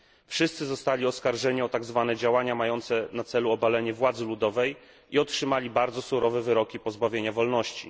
Wszyscy zostali oskarżeni o tak zwane działania mające na celu obalenie władzy ludowej i otrzymali bardzo surowe wyroki pozbawienia wolności.